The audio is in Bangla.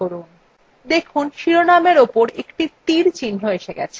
দেখুন শিরোনামের উপর একটি তীর চিহ্ন এসেছে